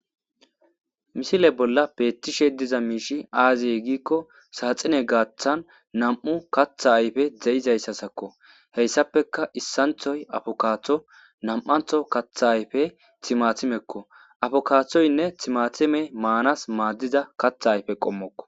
Misile bolla beettishe diza miishi aaze giikko saaxine gaathan nam7u katha ayfe de7izayssasakko heyssappeka issanthoy afokaatho nam7antho katha ayfe thimathimekko afokaathoynne thimathimey maanas maaddiza katha ayfe qommokko.